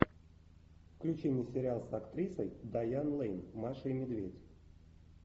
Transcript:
включи мне сериал с актрисой дайан лэйн маша и медведь